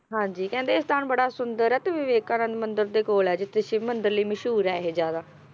ਹਾਂਜੀ ਕਹਿੰਦੇ ਇਹ ਸਥਾਨ ਬੜਾ ਸੁੰਦਰ ਆ ਤੇ ਵਿਵੇਕਾਨੰਦ ਮੰਦਿਰ ਦੇ ਕੋਲ ਆ ਜਿੱਥੇ ਸ਼ਿਵ ਮੰਦਿਰ ਲਈ ਮਸ਼ਹੂਰ ਆ ਇਹ ਜ਼ਿਆਦਾ